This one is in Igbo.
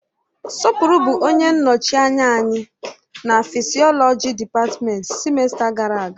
Sopuru bụ onye nnọchi anya anyị na fịsiolọji dịpatmenti sịmesta gara aga.